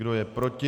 Kdo je proti?